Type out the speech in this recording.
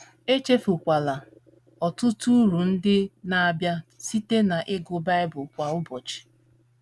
Echefukwala ọtụtụ uru ndị na - abịa site n’ịgụ Bible kwa ụbọchị.